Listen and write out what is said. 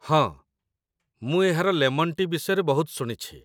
ହଁ, ମୁଁ ଏହାର ଲେମନ୍ ଟି' ବିଷୟରେ ବହୁତ ଶୁଣିଛି